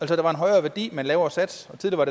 der var en højere værdi men en lavere sats tidligere